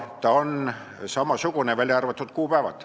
Ta on samasugune, välja arvatud kuupäevad.